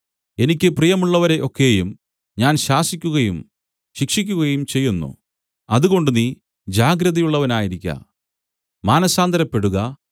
എനിക്ക് പ്രിയമുള്ളവരെ ഒക്കെയും ഞാൻ ശാസിക്കുകയും ശിക്ഷിക്കുകയും ചെയ്യുന്നു അതുകൊണ്ട് നീ ജാഗ്രതയുള്ളവനായിരിക്ക മാനസാന്തരപ്പെടുക